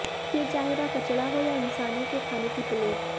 फिर चाहें वह कचरा हो या इंसानों के खाने की प्लेट